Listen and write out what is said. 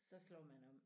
Så slår man om